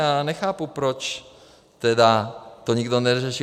Já nechápu, proč teda to nikdo neřešil.